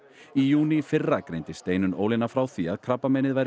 í júní í fyrra greindi Steinunn Ólína frá því að krabbameinið væri